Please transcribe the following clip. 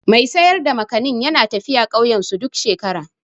Mai sayar da Gwazar/ Makanin yana tafiya ƙauyensu duk shekara.